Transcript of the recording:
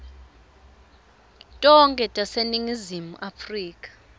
tonkhe taseningizimu afrika